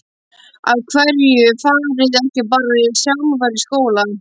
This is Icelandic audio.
Af hverju fariði ekki bara sjálfar í skóla?